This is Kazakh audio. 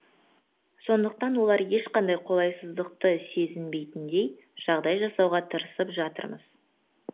сондықтан олар ешқандай қолайсыздықты сезбейтіндей жағдай жасауға тырысып жатырмыз